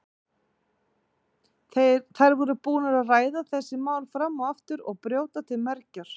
Þær voru búnar að ræða þessi mál fram og aftur og brjóta til mergjar.